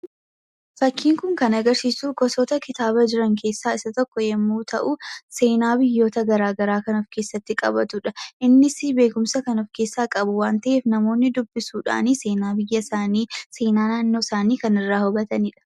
Fakkiin kun kan agarsisuu gosoota kitabaa jiraan keessaa isaa tokko yommuu ta'u, seenaa biyyoota gara garaa kan of keessatti qabatudha. Innis beekumsa kan of keessa qabu waan ta'eef namoonni dubbisuudhaan seenaa biyyaa isaani, seenaa naannoo isaa kan irraa hubatanidha.